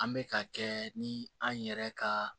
An bɛ ka kɛ ni an yɛrɛ ka